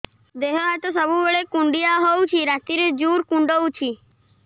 ଦେହ ହାତ ସବୁବେଳେ କୁଣ୍ଡିଆ ହଉଚି ରାତିରେ ଜୁର୍ କୁଣ୍ଡଉଚି